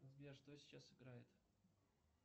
сбер что сейчас играет